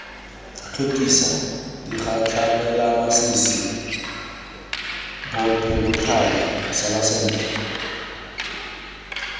tlhokisa digatlhamelamasisi bopelokgale sala sentle